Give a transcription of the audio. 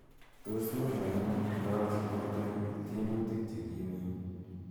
Tos mii kaimuut ngaachi bortanyu tyemutik chegimeen.